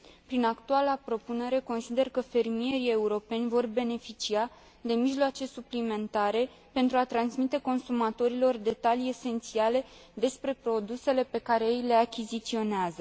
Prin actuala propunere, consider că fermierii europeni vor beneficia de mijloace suplimentare pentru a transmite consumatorilor detalii esențiale despre produsele pe care ei le achiziționează.